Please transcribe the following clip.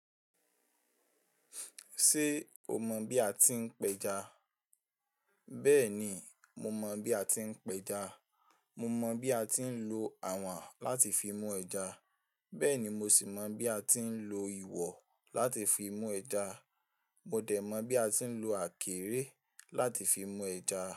Ṣé o mọ̀ bí a ti ń pẹja? Bẹ́ẹ̀ni, mo mọ̀ bí a ti ń pẹja. Mo mọ bí a ti ń lo àwọ̀n láti fi mú ẹja. Bẹ́ẹ̀ni mo sì mọ bí a ti ń lo ìwọ̀ láti fi mú ẹja. Mo dẹ̀ mọ̀ bí a ti ń lo àkèrè láti fi mú ẹja.